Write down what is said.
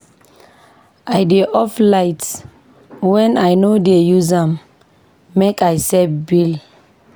I dey off light wen I no dey use am make I save bill.